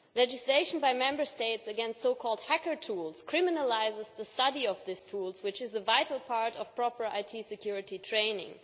Legislation by Member States against so called hacker tools criminalises the study of these tools, which is a vital part of proper IT security training.